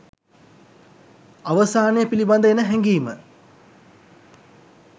අවසානය පිලිබඳ එන හැඟීම